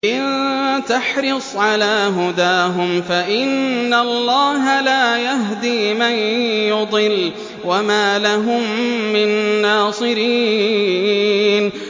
إِن تَحْرِصْ عَلَىٰ هُدَاهُمْ فَإِنَّ اللَّهَ لَا يَهْدِي مَن يُضِلُّ ۖ وَمَا لَهُم مِّن نَّاصِرِينَ